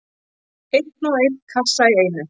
Einn og einn kassa í einu.